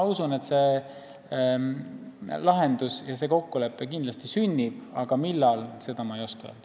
Usun, et see lahendus ja kokkulepe kindlasti sünnib, aga millal, seda ma ei oska öelda.